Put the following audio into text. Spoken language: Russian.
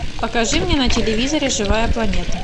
покажи мне на телевизоре живая планета